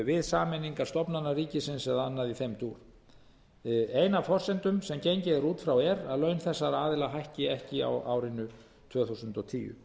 við sameiningar stofnana ríkisins eða annað í þeim dúr ein af forsendum sem gengið er út frá er að laun þessara aðila hækki ekki á árinu tvö þúsund og tíu